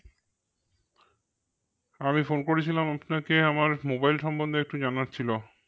আমি phone করেছিলাম আপনাকে আমার mobile সম্বন্ধে একটু জানার ছিল